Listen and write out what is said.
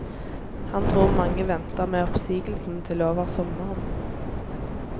Han tror mange venter med oppsigelsene til over sommeren.